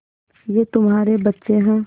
ये तुम्हारे बच्चे हैं